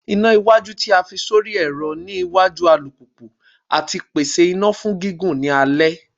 Ina iwaju ti a fi sori ẹrọ ni iwaju alupupu ati pese ina fun gigun ni alẹ